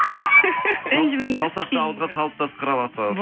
ренжімеңіз саусақты ауызға салып та сықыра аласыз